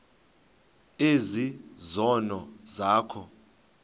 ezi zono zakho